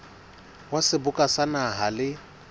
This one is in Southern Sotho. wa seboka sa naha le